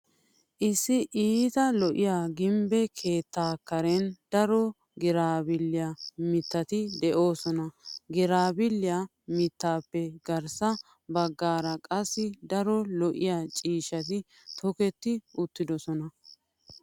Issi iita lo'iya gimbbe keettaa karen daro giraabbilliyaa mittati de"oosona. Giraabbilliyaa mittatuppe garssa baggaara qassi daro lo'iya ciishshati tokketi uttidosona.